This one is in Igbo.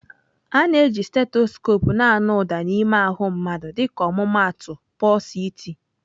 A na-eji stethoskope na-anụ ụda n'ime ahụ mmadụ dịka ọmụmaatụ pulse iti.